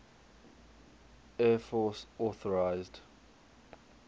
air force authorised